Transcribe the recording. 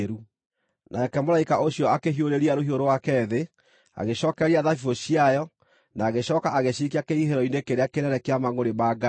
Nake mũraika ũcio akĩhiũrĩria rũhiũ rwake thĩ, agĩcookereria thabibũ ciayo, na agĩcooka agĩciikia kĩhihĩro-inĩ kĩrĩa kĩnene kĩa mangʼũrĩ ma Ngai.